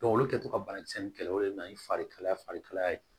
olu kɛtɔ ka banakisɛ in kɛlɛ olu de nana ni fari kalaya fari kalaya ye